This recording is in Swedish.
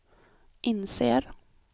inser